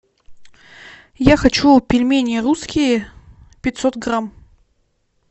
я хочу пельмени русские пятьсот грамм